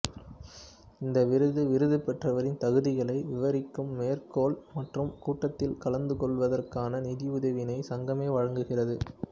இந்த விருது விருது பெற்றவரின் தகுதிகளை விவரிக்கும் மேற்கோள் மற்றும் கூட்டத்தில் கலந்துகொள்வதற்கான நிதி உதவியினை சங்கமே வழங்குகிறது